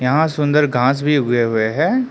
यहां सुंदर घास भी उगे हुए हैं।